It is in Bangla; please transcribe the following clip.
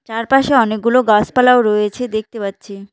চারপাশে অনেকগুলো গাসপালাও রয়েছে দেখতে পাচ্ছি।